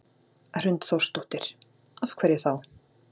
Hrund Þórsdóttir: Af hverju þá?